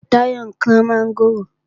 Táyọ̀ ń kán mọ́ngòrò